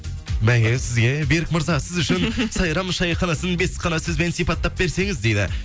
бәке сізге берік мырза сіз үшін сайрам шайханасын бес қана сөзбен сипаттап берсеңіз дейді